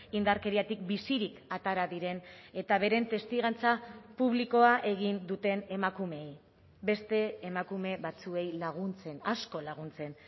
indarkeriatik bizirik atera diren eta beren testigantza publikoa egin duten emakumeei beste emakume batzuei laguntzen asko laguntzen